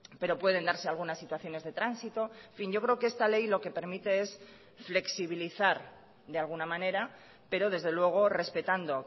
pero pueden darse algunas situaciones de tránsito en fin yo creo que esta ley lo que permite es flexibilizar de alguna manera pero desde luego respetando